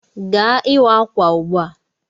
Gawa ịwa ákwà ugbu a.